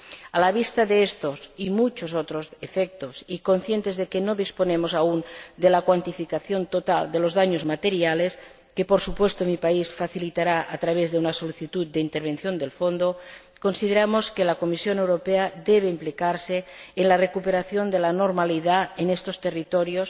A la vista de estos y muchos otros efectos y conscientes de que no disponemos aún de la cuantificación total de los daños materiales, que, por supuesto, mi país facilitará a través de una solicitud de intervención del fondo, consideramos que la Comisión Europea debe implicarse en la recuperación de la normalidad en estos territorios,